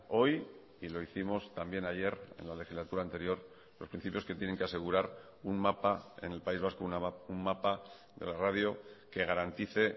hoy y lo hicimos también ayer en la legislatura anterior los principios que tienen que asegurar un mapa en el país vasco un mapa de la radio que garantice